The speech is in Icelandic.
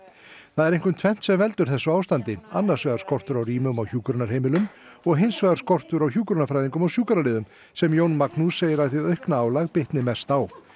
það er einkum tvennt sem veldur þessu ástandi annars vegar skortur á rýmum á hjúkrunarheimilum og hins vegar skortur á hjúkrunarfræðingum og sjúkraliðum sem Jón Magnús segir að hið aukna álag bitni mest á